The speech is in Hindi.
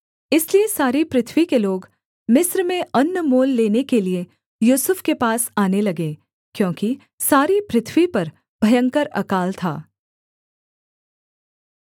इसलिए सारी पृथ्वी के लोग मिस्र में अन्न मोल लेने के लिये यूसुफ के पास आने लगे क्योंकि सारी पृथ्वी पर भयंकर अकाल था